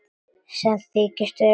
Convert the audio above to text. Sem þykist vera góð.